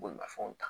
Bolimafɛnw ta